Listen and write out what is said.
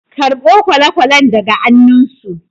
karɓo kwale-kwalen daga annunsu